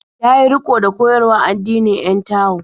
Ya yi riƙo da koyarwar addinin 'yan Tao.